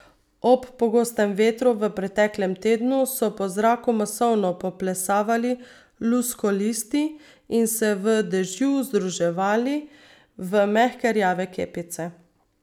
Ob pogostem vetru v preteklem tednu so po zraku masovno poplesavali luskolisti in se v dežju združevali v mehke rjave kepice.